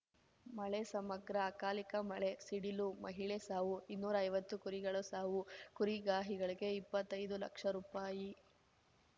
ಮಳೆ ಸಮಗ್ರ ಅಕಾಲಿಕ ಮಳೆ ಸಿಡಿಲು ಮಹಿಳೆ ಸಾವು ಇನ್ನೂರೈವತ್ತು ಕುರಿಗಳು ಸಾವು ಕುರಿಗಾಹಿಗಳಿಗೆ ಇಪ್ಪತ್ತೈದು ಲಕ್ಷ ರೂಪಾಯಿ